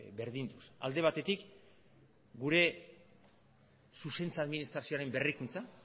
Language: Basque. berdinduz alde batetik gure zuzentze administrazioaren berrikuntza